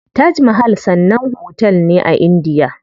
Taj mahal sannan otel ne a indiya.